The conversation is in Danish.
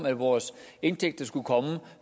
at vores indtægter skulle komme